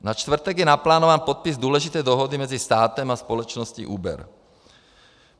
Na čtvrtek je naplánován podpis důležité dohody mezi státem a společností Uber.